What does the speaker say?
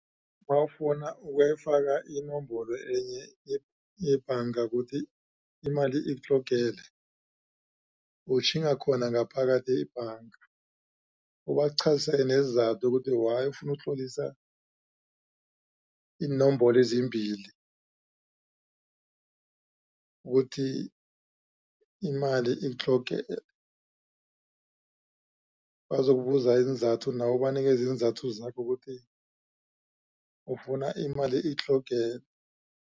Nawufuna ukuyifaka inomboro enye yebhanga kuthi imali ikutlogele utjhinga khona ngaphakathi ebhanga ubaqhazele nezizathu ukuthi why ufuna ukutlolisa iinomboro ezimbili ukuthi imali itloge bazokubuza iinzathu nawe ubanikeze iinzathu zakho ukuthi ufuna imali ikutlogele.